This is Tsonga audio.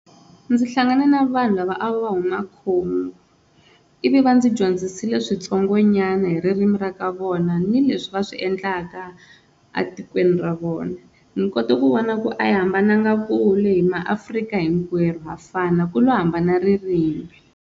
Ndzi hlangane na vanhu lava a va huma Congo ivi va ndzi dyondzisile switsongonyana hi ririmi ra ka vona ni leswi va swi endlaka a tikweni ra vona, ni kote ku vona ku a hi hambananga kule hi maAfrika hinkwenu ha fana ku lo hambana ririmi.